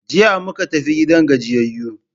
Jiya muka tafi gidan gajiyayu.